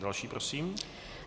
Další prosím.